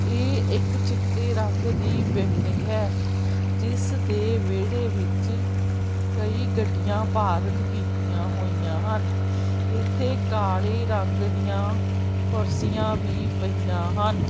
ਇਹ ਇੱਕ ਚਿੱਟੇ ਰੰਗ ਦੀ ਬਿਲਡਿੰਗ ਹੈ ਜਿਸ ਦੇ ਵਿਹੜੇ ਵਿੱਚ ਕਈ ਗੱਡੀਆਂ ਪਾਰਕ ਕੀਤੀਆਂ ਹੋਈਆਂ ਹਨ ਇੱਥੇ ਕਾਲੇ ਰੰਗ ਦੀਆਂ ਕੁਰਸੀਆਂ ਵੀ ਪਈਆਂ ਹਨ।